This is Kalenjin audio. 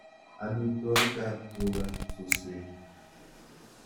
Amitwogikab tuga suswek.